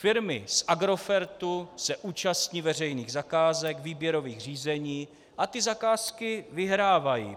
Firmy z Agrofertu se účastní veřejných zakázek, výběrových řízení a ty zakázky vyhrávají.